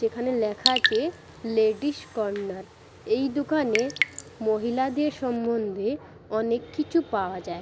এখানে লেখা আছে লেডিস কর্ণার । এই দোকানে মহিলাদের সম্বন্ধে অনেক কিছু পাওয়া যায় ।